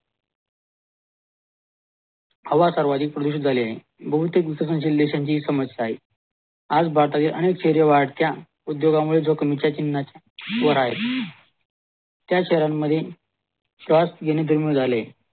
हवा सर्वाधिक प्रदूषित झाली आहे बहुतेक लोकांची समश्या आहे आज भारतातील अनेक वाढत्या उद्योगामुळे जो कमीच्या चिन्नाच्या आहे त्या शहरांमधील स्वास घेणे जन्मदय झालाय